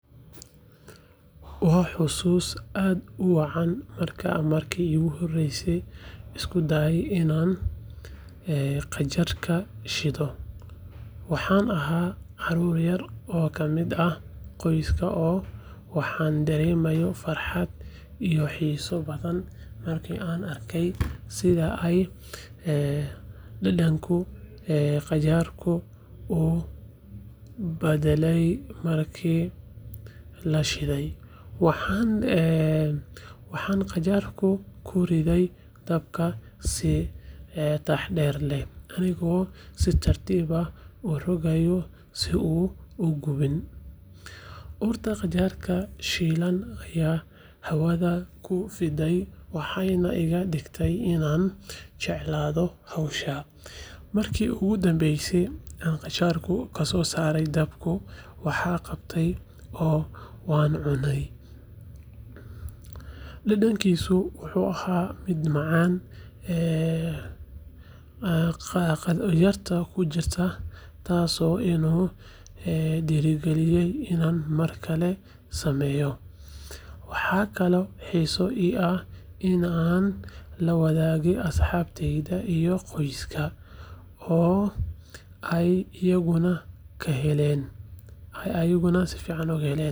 Waa xusuus aad u macaan markaan markii ugu horraysay isku dayay inaan qajaarka shiilo. Waxaan ahaa carruur yar oo ka mid ah qoyska oo waxaan dareemay farxad iyo xiiso badan markii aan arkey sidii ay dhadhanka qajaarku u baddalay markii la shiilay. Waxaan qajaarka ku riday dabka si taxadar leh, anigoo si tartiib ah u rogaya si uusan u gubin. Urta qajaarka shiilan ayaa hawada ku fiday, waxayna iga dhigtay inaan jeclaado hawshan. Markii ugu dambeysay aan qajaarka ka soo saaray dabka, waan qabtay oo waan cunay, dhadhankiisu wuxuu ahaa mid macaan, qadhaadh yarna ku jiray, taasoo igu dhiirrigelisay inaan mar kale sameeyo. Waxaa kaloo xiiso ii ahaa in aan la wadaago asxaabtayda iyo qoyska, oo ay iyaguna ka helaan.